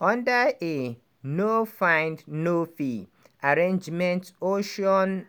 under a "no find no fee" arrangement ocean